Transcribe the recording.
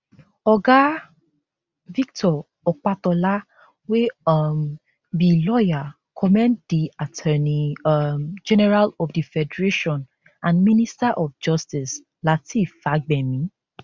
oga victor opatola wey um be lawyer commend di attorney um general of di federation and minister of justice lateef fagbemi